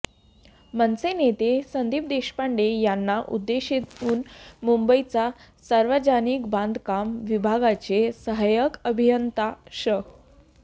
मनसे नेते संदीप देशपांडे यांना उद्देशून मुंबईच्या सार्वजनिक बांधकाम विभागाचे सहाय्यक अभियंता श